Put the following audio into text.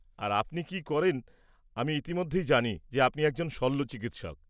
আর আপনি কি করেন, আমি ইতিমধ্যেই জানি যে আপনি একজন শল্যচিকিৎসক।